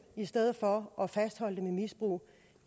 i stedet for at fastholde dem i misbrug